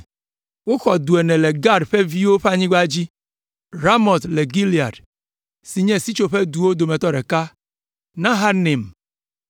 Woxɔ du ene le Gad ƒe viwo ƒe anyigba dzi: Ramot le Gilead si nye sitsoƒeduwo dometɔ ɖeka, Mahanaim,